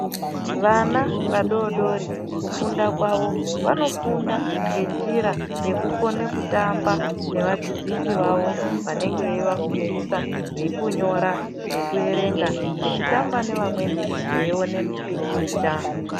Vana vadodori kufunda kwavo vanofunda ngenjira yekukone kutamba nevadzidzisi vavo vanenge veivafundisa vekunyora nekuerenga kutamba nevamweni veione mipikicha.